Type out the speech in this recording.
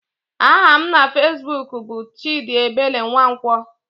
Aha m na fezbuk bụ Chidiebele Nwankwo.